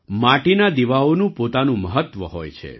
માટીના દીવાઓનું પોતાનું મહત્ત્વ હોય છે